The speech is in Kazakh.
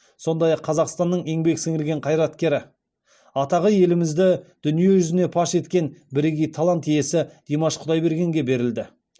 сондай ақ қазақстанның еңбек сіңірген қайраткері атағы елімізді дүние жүзіне паш еткен бірегей талант иесі димаш құдайбергенге берілді